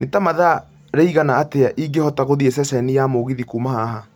Nĩ ta mathaa rĩigana atĩa ingĩhota gũthiĩ ceceni ya mũgithi kuuma haha